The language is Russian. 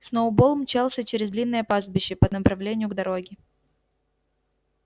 сноуболл мчался через длинное пастбище по направлению к дороге